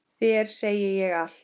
Þér segi ég allt.